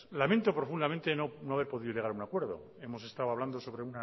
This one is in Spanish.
lamento profundamente no haber podido llegar a un acuerdo hemos estado hablando sobre